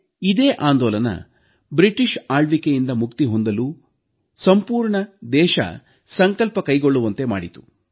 ಇದೇ ಆಂದೋಲನ ಬ್ರಿಟಿಷ್ ಆಳ್ವಿಕೆಯಿಂದ ಮುಕ್ತಿ ಹೊಂದಲು ಸಂಪೂರ್ಣ ದೇಶ ಸಂಕಲ್ಪ ಕೈಗೊಳ್ಳುವಂತೆ ಮಾಡಿತು